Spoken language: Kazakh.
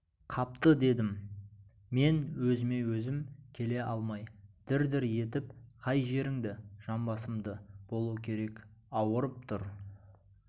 қапты дедім мен өзіме-өзім келе алмай дір-дір етіп қай жеріңді жамбасымды болу керек ауырып тұр